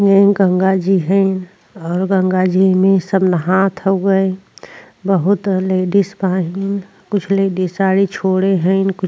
इ गंगा जी हइन और गंगा जी में सब नहात हउवे बहुत लेडीज कुछ लेडीज साड़ी छोड़े हइन।